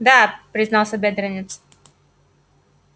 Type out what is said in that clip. да признался бедренец